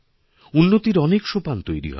উন্নতির অনেক সোপান তৈরি হবে